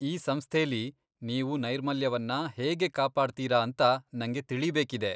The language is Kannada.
ಈ ಸಂಸ್ಥೆಲೀ ನೀವು ನೈರ್ಮಲ್ಯವನ್ನ ಹೇಗೆ ಕಾಪಾಡ್ತೀರಾ ಅಂತ ನಂಗೆ ತಿಳೀಬೇಕಿದೆ.